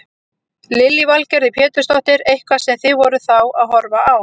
Lillý Valgerður Pétursdóttir: Eitthvað sem þið voruð þá að horfa á?